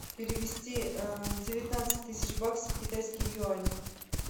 перевести девятнадцать тысяч баксов в китайские юани